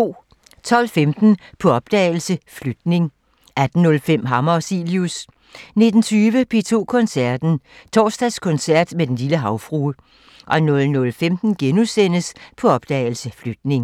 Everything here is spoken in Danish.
12:15: På opdagelse – Flytning 18:05: Hammer og Cilius 19:20: P2 Koncerten – Torsdagskoncert med Den lille Havfrue 00:15: På opdagelse – Flytning *